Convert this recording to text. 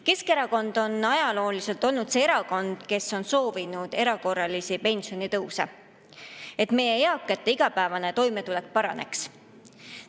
Keskerakond on ajalooliselt olnud see erakond, kes on soovinud erakorralisi pensionitõuse, et meie eakate igapäevane toimetulek paraneks.